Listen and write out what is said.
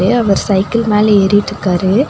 இங்க அவர் சைக்கிள் மேல ஏறிட்ருக்காரு.